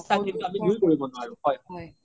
হয়